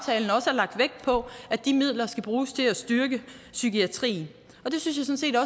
lagt vægt på at de midler skal bruges til at styrke psykiatrien det synes jeg